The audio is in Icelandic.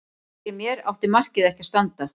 Fyrir mér átti markið ekki að standa.